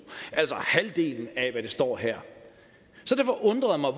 altså halvdelen af hvad der står her så det undrede mig